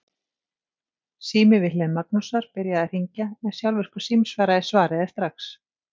Sími við hlið Magnúsar byrjaði að hringja en sjálfvirkur símsvari svaraði strax.